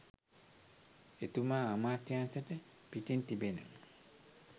එතුමා අමාත්‍යංශයට පිටින් තිබෙන